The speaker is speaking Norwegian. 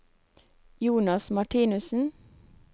Jonas Martinussen